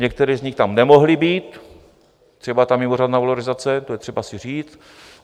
Některé z nich tam nemohly být, třeba ta mimořádná valorizace, to je potřeba si říct.